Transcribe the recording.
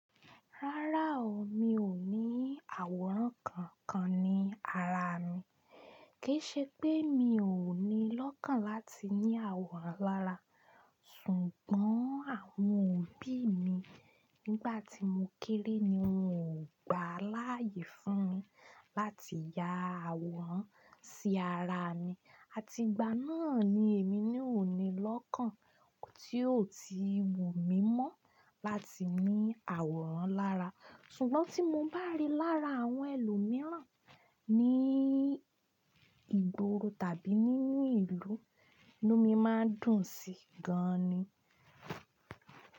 Rárá o, mi ò ní àwòrán kankan ní ara mi. Kì í ṣe pé mi ò ní lọ́kàn láti ní àwòrán lára, ṣùgbọ́n àwọn òbí mi nígbà tí mo kéré ni wọ́n ò gbà láyè fún mi láti ya àwòrán sí ara mi. Àti ìgbà náà ni èmi ná òní lọ́kàn tí o ti wù mí mọ́ láti ní àwòrán lára. Ṣùgbọ́n tí mo bá rí lára àwọn ẹlòmíràn ní ìgboro tàbí nínú ìlú inú mí máa ń dùn sí gan ni.